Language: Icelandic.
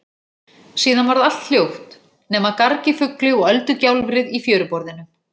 Síðan varð allt hljótt nema garg í fugli og öldugjálfrið í fjöruborðinu.